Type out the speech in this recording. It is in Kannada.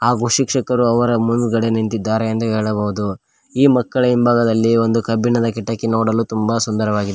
ಹಾಗೂ ಶಿಕ್ಷಕರು ಅವರ ಮುಂದ್ಗಡೆ ನಿಂತಿದ್ದಾರೆ ಎಂದು ಹೇಳಬಹುದು ಈ ಮಕ್ಕಳ ಹಿಂಬಾಗದಲ್ಲಿ ಒಂದು ಕಬ್ಬಿಣದ ಕಿಟಕಿ ನೋಡಲು ತುಂಬ ಸುಂದರವಾಗಿದೆ.